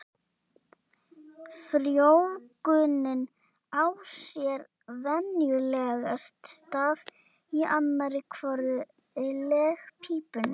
Ingveldur Geirsdóttir: Var þetta ekki aðeins meira vesen vanalega?